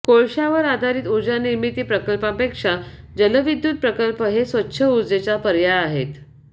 कोळशावर आधारित ऊर्जानिर्मिती प्रकल्पांपेक्षा जलविद्युत प्रकल्प हे स्वच्छ ऊर्जेचा पर्याय आहेत